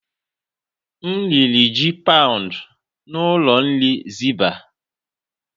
M riri ji paụnd n'ụlọ nri zibah.